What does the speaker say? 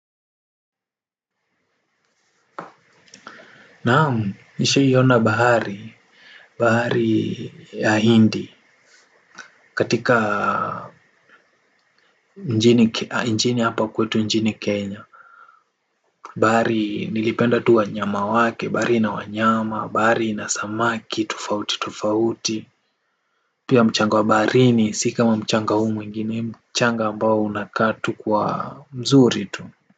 Naamu nishai ona bahari. Bahari ya hindi. Katika njini hapa kwetu njini Kenya. Bahari nilipenda tu wanyama wake, bahari ina wanyama, bahari inasamaki, tufauti tufauti. Pia mchanga wa baharini si kama mchanga hu mwingine mchanga ambao unakatu kuwa mzuri tu. Kwa hivyo.